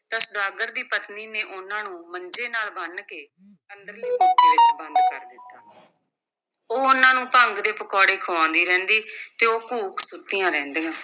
ਤਾਂ ਸੁਦਾਗਰ ਦੀ ਪਤਨੀ ਨੇ ਉਨ੍ਹਾਂ ਨੂੰ ਮੰਜੇ ਨਾਲ ਬੰਨ੍ਹ ਕੇ ਅੰਦਰਲੇ ਕੋਠੇ ਵਿੱਚ ਬੰਦ ਕਰ ਦਿੱਤਾ ਉਹ ਉਨ੍ਹਾਂ ਨੂੰ ਭੰਗ ਦੇ ਪਕੌੜੇ ਖੁਆਉਂਦੀ ਰਹਿੰਦੀ ਤੇ ਉਹ ਘੂਕ ਸੁੱਤੀਆਂ ਰਹਿੰਦੀਆਂ।